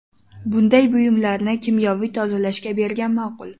Bunday buyumlarni kimyoviy tozalashga bergan ma’qul.